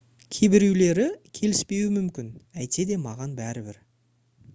кейбіреулері келіспеуі мүмкін әйтсе де маған бәрібір